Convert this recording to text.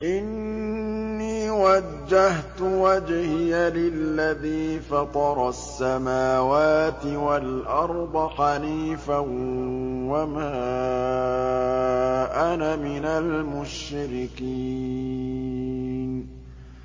إِنِّي وَجَّهْتُ وَجْهِيَ لِلَّذِي فَطَرَ السَّمَاوَاتِ وَالْأَرْضَ حَنِيفًا ۖ وَمَا أَنَا مِنَ الْمُشْرِكِينَ